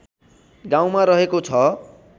गाउँमा रहेको छ